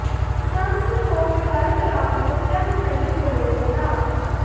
ਸੰਸਦ ਤੋਂ ਵਿਦਾਈ ਦੌਰਾਨ ਦਿੱਗਜਾਂ ਨੂੰ ਨਹੀਂ ਭੁੱਲੇ ਪ੍ਰਣਾਬ